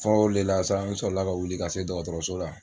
Fɔlɔ olu de la sa an sɔrɔ la ka wili ka se dɔgɔtɔrɔso la.